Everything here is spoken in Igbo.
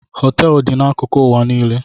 Hoteelu dị n'akụkụ ụwa niile.